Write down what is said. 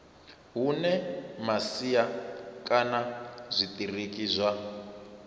hune masia kana zwitiriki zwa